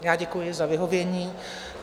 Já děkuji za vyhovění.